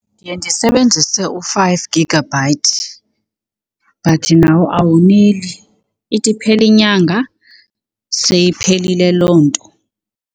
Ndiye ndisebenzise u-five gigabyte but nawo awoneli. Ithi iphela inyanga seyiphelile loo nto.